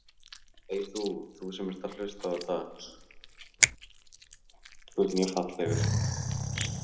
Beggi, hvað er í dagatalinu mínu í dag?